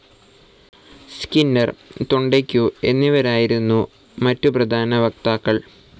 Skinner, Thorndike എന്നിവരായിരുന്നു മറ്റു പ്രധാന വക്താക്കൾ.